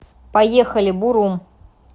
поехали бурум